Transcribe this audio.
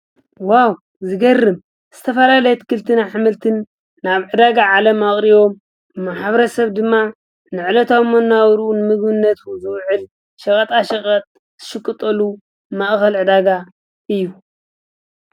ዋው ዝገርም ዝተፈልለየ አትክልትን ኃምልትን ናብ ዕዳጋ ዓለ ኣቕሪቦ ሓብረ ሰብ ድማ ነዕለት ኣመ ናበሩኡን ምግነቱ ዘውዕል ሽቐጣ ሽቐጥ ሽቅጠሉ ማእኸል ዕዳጋ እዩ::